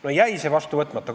No see jäi vastu võtmata.